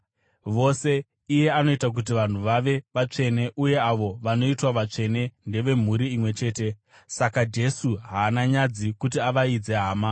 Vose, iye anoita kuti vanhu vave vatsvene uye avo vanoitwa vatsvene ndevemhuri imwe chete. Saka Jesu haana nyadzi kuti avaidze hama.